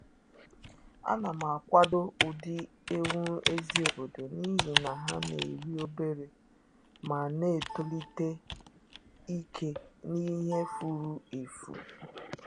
A na m akwado ụdị ewu ezi obodo n’ihi na ha na-eri obere ma na-etolite ike n’ihe furu efu